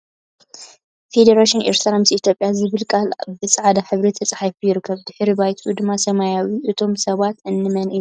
ፈደሬሽን ኤርትራ ምስ ኢትዮጵያ ዝብል ቃል ብ ፃዕዳ ሕብሪ ተፃሒፉ ይርከብ ድሕረ ባይትኡ ድማ ሰማያዊ እዩ ። እቶም ሰባት እንመን እዮም ?